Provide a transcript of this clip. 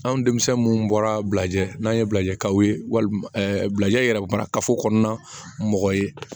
Anw denmisɛn minnu bɔra bilajɛ n'an ye bilajikaw ye wa bilajɛ yɛrɛ kuma kafo kɔnɔna mɔgɔ ye